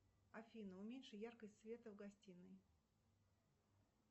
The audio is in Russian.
афина уменьши яркость света в гостинной